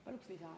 Paluks lisaaega.